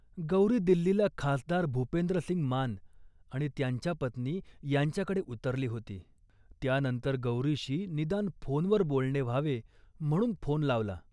गौरी दिल्लीला खासदार भूपेंद्रसिंग मान आणि त्यांच्या पत्नी यांच्याकडे उतरली होती. त्यानंतर गौरीशी निदान फोनवर बोलणे व्हावे म्हणून फोन लावला